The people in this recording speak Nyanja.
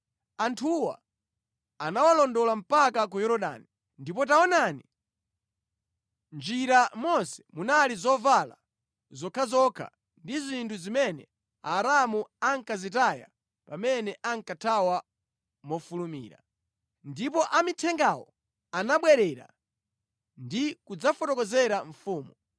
Anthuwa anawalondola mpaka ku Yorodani, ndipo taonani, mʼnjira monse munali zovala zokhazokha ndi zinthu zimene Aaramu ankazitaya pamene ankathawa mofulumira. Ndipo amithengawo anabwerera ndi kudzafotokozera mfumu.